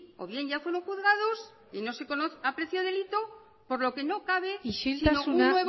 o bien ya fueron juzgados y no se aprecia delito por lo que no cabe isiltasuna